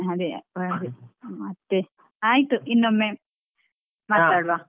ಅದೆ ಅದೇ ಮತ್ತೆ ಆಯ್ತು ಇನ್ನೊಮ್ಮೆ .